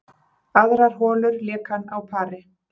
Aðrar holur lék hann á pari